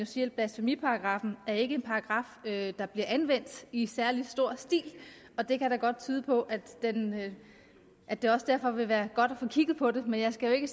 sige at blasfemiparagraffen er en paragraf der bliver anvendt i særlig stor stil og det kan da godt tyde på at det også derfor vil være godt at få kigget på det men jeg skal jo ikke